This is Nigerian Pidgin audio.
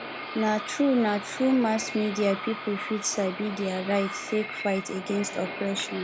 na through na through mass media people fit sabi their rights take fight against oppression